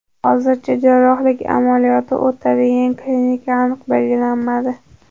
Hozircha jarrohlik amaliyoti o‘tadigan klinika aniq belgilanmadi.